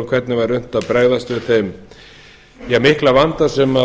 um hvernig unnt væri að bregðast við eða mikla vanda sem